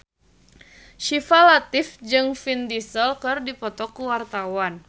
Syifa Latief jeung Vin Diesel keur dipoto ku wartawan